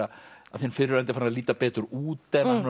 að þinn fyrrverandi fari að líta betur út